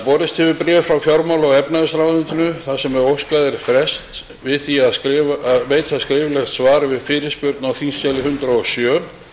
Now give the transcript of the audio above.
borist hefur bréf frá fjármála og efnahagsráðuneytinu þar sem óskað er frests við því að veita skriflegt svar við fyrirspurn á þingskjali hundrað og sjö